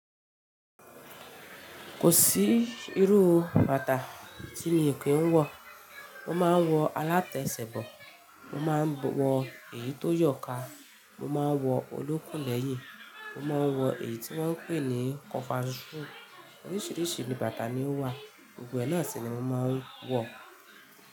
Kò sí irú bàtà tí mi kì n wọ. Mo máa ń wọ alátèṣè bọ, mo máa ń wọ èyí tó yọ̀ká, mo máa ń wọ olókùn lẹ́yìn, mo máa ń wọ èyí tí wọ́n ń pè ní kọ̀fàsu. Oríṣìíríṣìí bàtà ni ó wà, gbogbo ẹ náà sì ni mo máa ń wọ.